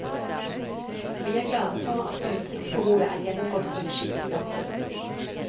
Vi er glade for at utgiftsbehovet er gjennomgått på en skikkelig måte.